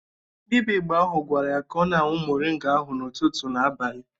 Dịbịa Igbo ahụ gwara ya ka ọ na-añwu moringa ahụ ụtụtụ na abalị